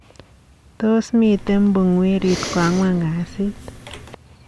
Tos, miten pungwerit ko angwan kasit?